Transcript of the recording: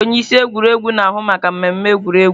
Onye isi egwuregwu na-ahụ maka mmemme egwuregwu.